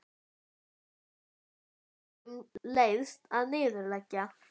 Húsfreyja sem engum leiðst að niðurlægja.